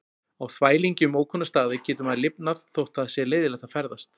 Á þvælingi um ókunna staði getur maður lifnað þótt það sé leiðinlegt að ferðast.